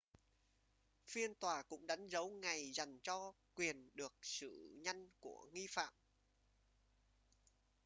phiên tòa cũng đánh dấu ngày dành cho quyền được xử nhanh của nghi phạm